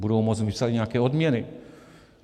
Budou moct vypsat nějaké odměny.